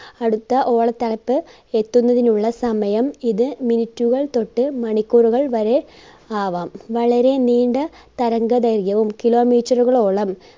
അടുത്ത ഓളതളപ്പ് എത്തുന്നതിനുള്ള സമയം ഇത് minute കൾ തൊട്ട് മണിക്കൂറുകൾ വരെ ആകാം. വളരെ നീണ്ട തരംഗദൈർഘ്യവും kilometer ുകളോളം